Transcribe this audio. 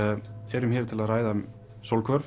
erum hér til að ræða um